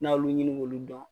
N'a y'olu ɲini k'olu dɔn